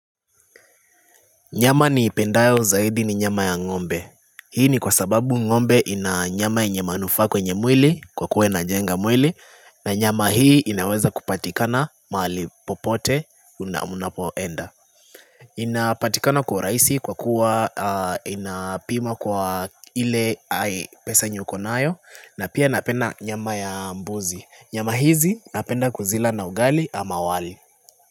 Nyama niipendayo zaidi ni nyama ya ngombe. Hii ni kwa sababu ngombe ina nyama yenye manufaa kwenye mwili kwa kuwa inajenga mwili na nyama hii inaweza kupatikana mahali popote unapoenda. Inapatikana kwa urahisi kwa kuwa inapima kwa ile pesa uko nayo na pia napenda nyama ya mbuzi. Nyama hizi napenda kuzila na ugali ama wali.